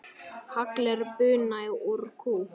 Hagl er buna úr kú.